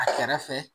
A kɛrɛfɛ